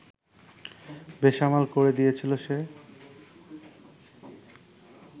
বেসামাল করে দিয়েছিল সে